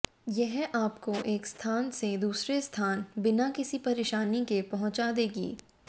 यह आपको एक स्थान से दूसरे स्थान बिना किसी परेशानी के पहुंचा देगी